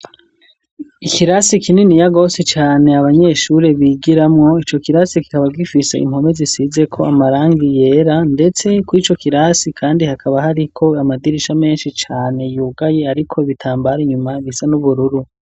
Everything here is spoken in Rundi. Ikirasi kinini yagosi cane abanyeshure bigiramwo ico kirasi kikaba gifisa impome zisizeko amarangi yera, ndetse kua ico kirasi, kandi hakaba hariko amadirisha menshi cane yugaye, ariko bitambare inyuma bisa n'ubururu.